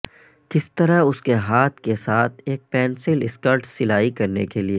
کس طرح اس کے ہاتھ کے ساتھ ایک پنسل سکرٹ سلائی کرنے کے لئے